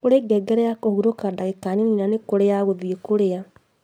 Kũri ngengere ya kũhurũka ndagika nini na nĩkũrĩ ya gũthiĩ kũrĩa